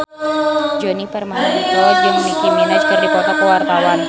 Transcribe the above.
Djoni Permato jeung Nicky Minaj keur dipoto ku wartawan